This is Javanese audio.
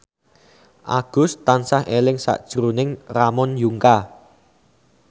Agus tansah eling sakjroning Ramon Yungka